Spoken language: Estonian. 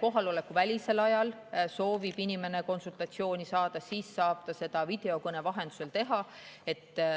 kohaloleku välisel ajal soovib inimene konsultatsiooni saada, siis saab ta seda videokõne vahendusel.